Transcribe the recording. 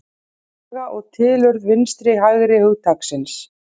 Saga og tilurð vinstri-hægri hugtaksins